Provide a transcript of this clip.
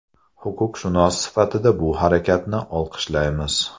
Huquqshunos sifatida bu harakatni olqishlaymiz.